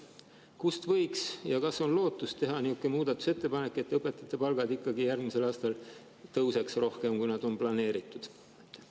Kas võiks teha niisuguse muudatusettepaneku ja kas on lootust, et õpetajate palgad tõusevad järgmisel aastal ikkagi rohkem, kui on planeeritud?